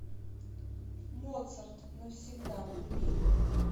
моцарт навсегда вруби